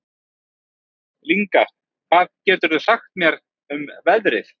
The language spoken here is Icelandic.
Lyngar, hvað geturðu sagt mér um veðrið?